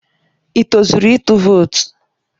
Ị tozuru ịtụ vootu?